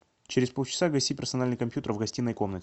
через полчаса гаси персональный компьютер в гостиной комнате